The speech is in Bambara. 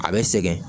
A bɛ sɛgɛn